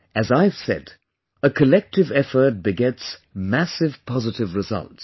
As I've said, a collective effort begets massive positive results